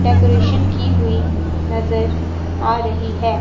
Decoration की हुई नजर आ रही है।